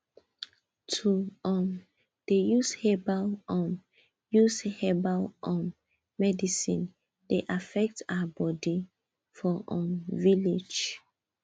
to dey um follow our forefathers forefathers belief na wetin wey dey pass from generation to generation um get deep mean